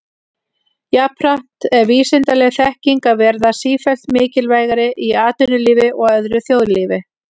Jafnframt er vísindaleg þekking að verða sífellt mikilvægari í atvinnulífi og öðru þjóðlífi.